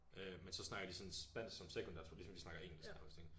Øh men så snakker de sådan spansk som sekundært sådan ligesom vi snakker engelsk nærmest ikke